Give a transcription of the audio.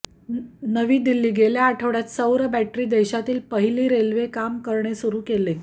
नवी दिल्ली गेल्या आठवड्यात सौर बॅटरी देशातील पहिली रेल्वे काम करणे सुरु केले